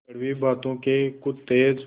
कड़वी बातों के कुछ तेज